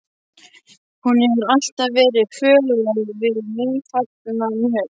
Hún hefur alltaf verið föl á við nýfallna mjöll.